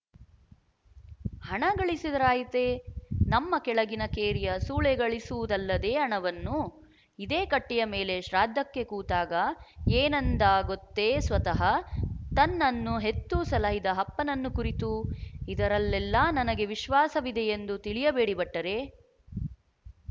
ಹಣ ಗಳಿಸಿದರಾಯಿತೆ ನಮ್ಮ ಕೆಳಗಿನ ಕೇರಿಯ ಸೂಳೆ ಗಳಿಸುವು ದಲ್ಲದೆ ಹಣವನ್ನು ಇದೇ ಕಟ್ಟೆಯ ಮೇಲೆ ಶ್ರಾದ್ಧಕ್ಕೆ ಕೂತಾಗ ಏನೆಂದ ಗೊತ್ತೇಸ್ವತಃ ತನ್ನನ್ನು ಹೆತ್ತು ಸಲಹಿದ ಅಪ್ಪನನ್ನು ಕುರಿತು ಇದರಲ್ಲೆಲ್ಲ ನನಗೆ ವಿಶ್ವಾಸವಿದೆಯೆಂದು ತಿಳಿಯಬೇಡಿ ಭಟ್ಟರೇ